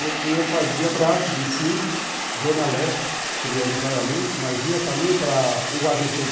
Eu fazia Brás vinte e cinco, Zona Leste, prioritariamente, mas ia também para o a bê cê dê,